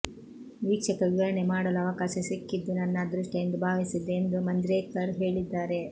ವೀಕ್ಷಕ ವಿವರಣೆ ಮಾಡಲು ಅವಕಾಶ ಸಿಕ್ಕಿದ್ದು ನನ್ನ ಅದೃಷ್ಟಎಂದು ಭಾವಿಸಿದ್ದೆ ಎಂದು ಮಂಜ್ರೇಕರ್ ಹೇಳಿದ್ದಾರೆ